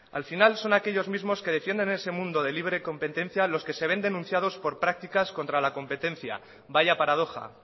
al final son aquellos mismos que defienden ese mundo de libre competencia los que se ven denunciados por prácticas contra la competencia vaya paradoja